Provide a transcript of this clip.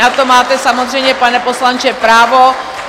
Na to máte samozřejmě, pane poslanče, právo.